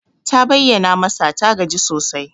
Ta bayyana masa ta gaji sosai.